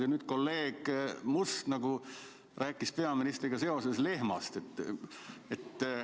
Ja nüüd kolleeg Must rääkis peaministriga seoses lehmast.